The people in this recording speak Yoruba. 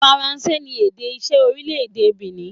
Faranse ni èdè iṣẹ́ orílẹ̀-èdè Benin.